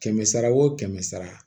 Kɛmɛ sara wo kɛmɛ sara